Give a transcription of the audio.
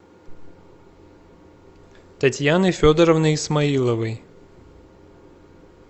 татьяны федоровны исмаиловой